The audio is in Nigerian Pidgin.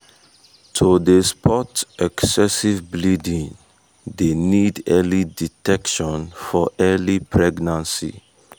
to dey spot excessive bleeding dey need early detection for early pregnancy